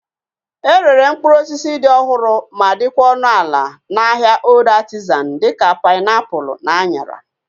E rere mkpụrụ osisi dị ọhụrụ ma dịkwa ọnụ ala na ahịa Old Artizan dịka painiapulu na anyara